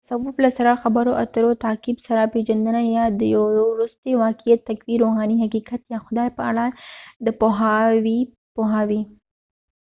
تصوف له سره خبرو اترو تعقیب سره پیژندنه یا د یو وروستي واقعیت تقوی روحاني حقیقت یا خدای په اړه د پوهاوي پوهاوی